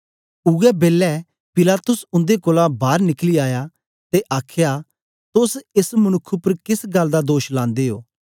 ओया बेलै पिलातुस उन्दे कोल बार निकली आया ते आखया तोस एस मनुक्ख उपर केस गल्ल दा दोष लांदे ओ